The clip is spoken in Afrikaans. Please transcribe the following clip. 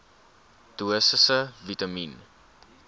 dosisse vitamien